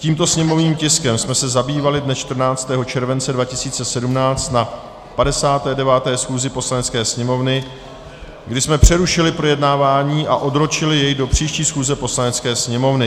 Tímto sněmovním tiskem jsme se zabývali dne 14. července 2017 na 59. schůzi Poslanecké sněmovny, kdy jsme přerušili projednávání a odročili je do příští schůze Poslanecké sněmovny.